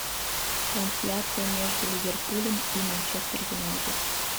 трансляция между ливерпулем и манчестер юнайтед